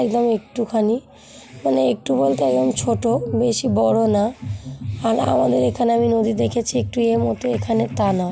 এবং একটুখানি মানে একটু বলতে একদম ছোট বেশি বড় না আর আমাদের এখানে আমি নদী দেখেছি একটু এর মত তানা।